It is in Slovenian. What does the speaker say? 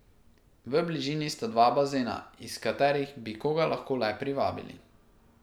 V bližini sta dva bazena, iz katerih bi koga lahko le privabili.